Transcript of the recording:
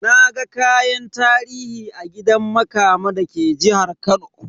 Naga kayan tarihi a gidan Makama da ke jihar Kano.